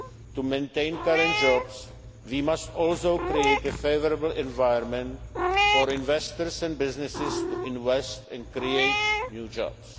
efforts to maintain current jobs, we must also create a favourable environment for investors and businesses to invest and create new